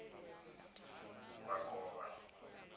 makovha